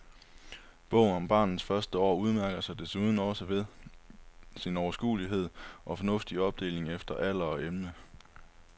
Bogen om barnets første år udmærker sig desuden også ved sin overskuelige og fornuftige opdeling efter alder og emne.